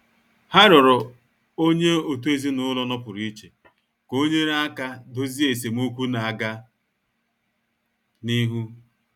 Ha rịọrọ onye otu ezinụlọ nọpụrụ iche ka o nyere aka dozie esemokwu na-aga n'ihu.